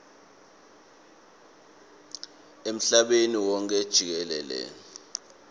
emhlabeni wonkhe jikelele